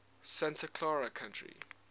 santa clara county